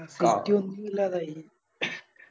ഒന്നുല്ലാതായി